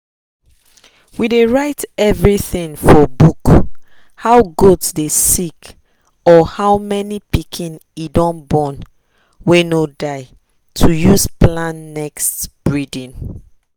we dey write everything for book—how goat dey sick or how many pikin e don born wey no die to use plan next breeding.